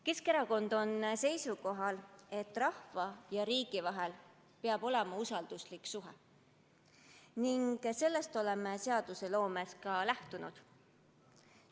Keskerakond on seisukohal, et rahva ja riigi vahel peab olema usalduslik suhe, ning sellest oleme seadusloomes ka lähtunud.